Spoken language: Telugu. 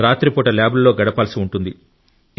రాత్రిపూట ల్యాబ్లలో గడపాల్సి ఉంటుంది